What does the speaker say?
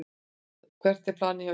Hvert er planið hjá ykkur?